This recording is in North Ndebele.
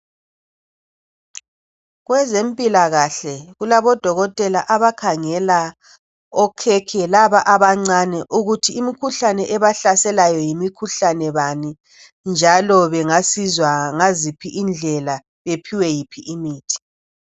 Kwezempilakahle kulabodotela abakhangela laba okhekhe abancane ukuthi imikhuhlane ebahlaselayo yimikhuhlane bani njalo bengasizwa ngayiphi indlela futhi baphiwe yiphi imithi